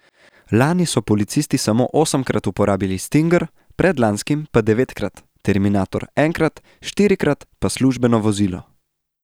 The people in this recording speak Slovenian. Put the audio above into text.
Lani so policisti samo osemkrat uporabili stinger, predlanskim pa devetkrat, terminator enkrat, štirikrat pa službeno vozilo.